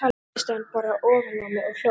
Svo settist hann bara ofan á mig og hló.